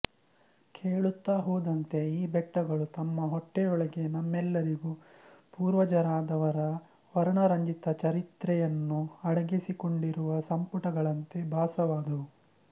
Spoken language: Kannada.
ಕೇಳುತ್ತ ಹೋದಂತೆ ಈ ಬೆಟ್ಟಗಳು ತಮ್ಮ ಹೊಟ್ಟೆಯೊಳಗೆ ನಮ್ಮೆಲ್ಲರಿಗೂ ಪೂರ್ವಜರಾದವರ ವರ್ಣರಂಜಿತ ಚರಿತ್ರೆಯನ್ನು ಅಡಗಿಸಿಕೊಂಡಿರುವ ಸಂಪುಟಗಳಂತೆ ಭಾಸವಾದವು